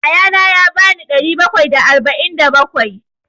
Ya ya na ya ba ni ɗari bakwai da arba'in da bakwai.